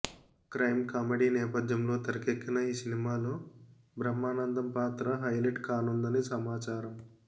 crime comedy నేపథ్యంలో తెరకెక్కిన ఈ సినిమాలో బ్రహ్మానందం పాత్ర హైలైట్ కానుందని సమాచారం